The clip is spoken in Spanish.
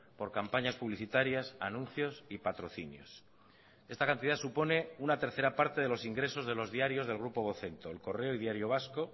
por campañas publicitarias anuncios y patrocinios esta cantidad supone una tercera parte de los ingresos de los diarios del grupo vocento el correo y diario vasco